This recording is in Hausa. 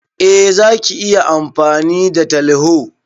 Eh Zaki iya amfani da teleho.